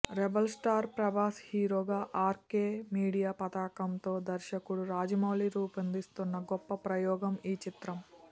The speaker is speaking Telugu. రెబల్ స్టార్ ప్రభాస్ హీరోగా ఆర్కో మీడియా పతాకంతో దర్శకుడు రాజమౌళి రూపొందిస్తున్న గొప్ప ప్రయోగం ఈ చిత్రం